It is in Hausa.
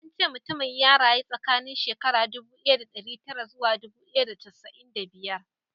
An ce mutumin ya rayu tsakanin shekara ɗubu ɗaya ɗari tara zuwa ɗubu ɗaya da casa'in da biyar